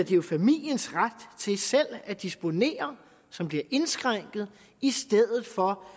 jo familiens ret til selv at disponere som bliver indskrænket i stedet for